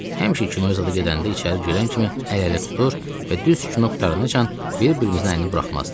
Həmişə kinoya zadə gedəndə içəri girən kimi əl-ələ tutur və düz kino qurtarana qədər bir-birimizin əlini buraxmazdıq.